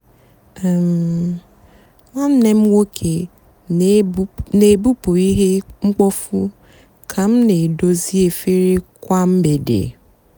um nwánné m nwóké nà-èbupụ íhè mkpófu kà m nà-èdozi efere kwá mgbede.